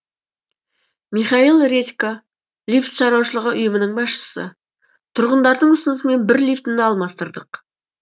михаил редько лифт шаруашылығы ұйымының басшысы тұрғындардың ұсынысымен бір лифтіні алмастырдық